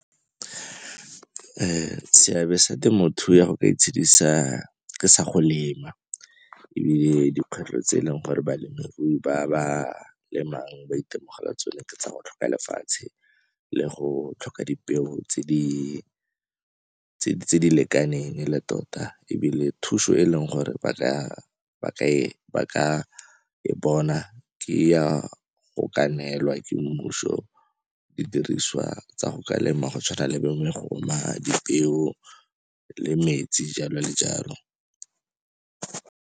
Seabe sa temothuo ya go ka itshedisa sa go lema dikgwetlho tse e leng gore balemirui ba ba lemang ba itemogela tsone tsa go tlhoka lefatshe le go tlhoka dipeo tse di lekaneng e le tota ebile thuso e leng gore ba ka e bona ke ya go ka neelwa ke mmuso didiriswa tsa go ka lema go tshwana le bo megoma, dipeo le metsi, jalo le jalo.